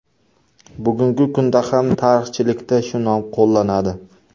Bugungi kunda ham tarixchilikda shu nom qo‘llanadi.